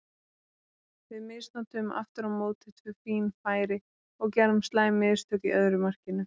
Við misnotuðum aftur á móti tvö fín færi og gerðum slæm mistök í öðru markinu.